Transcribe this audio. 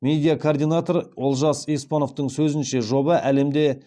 медиа координатор олжас еспановтың сөзінше жоба әлемде